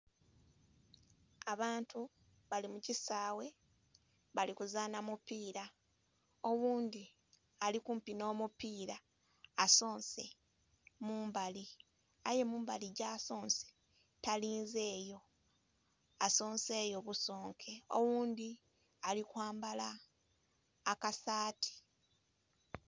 Abantu bali mu kisaawe bali kuzaana mupiira. Oghundhi ali kumpi nh'omupiira asonse mu mbali, aye mumbali gyasonse, talinze yo. Asonse yo busonke. Oghundhi ali kwambala akasaati.